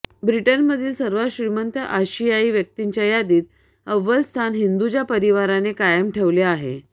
ब्रिटनमधील सर्वात श्रीमंत आशियाई व्यक्तींच्या यादीत अव्वल स्थान हिंदुजा परिवाराने कायम ठेवले आहे